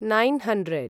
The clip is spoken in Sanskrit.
nine hundred